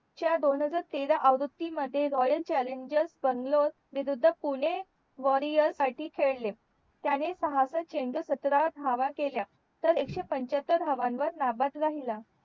च्या दोन हजार तेरा च्या आवृत्ती मध्ये रॉयल चालेलन्जर बंगलोर विरुद्ध पुणे वॉरिअर साठी खेळले त्याने पाहक्षट चेंडूंत सतरा धावा केल्या तर एक शे पंचातर धावांवर नाबाद राहिला